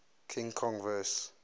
king kong vs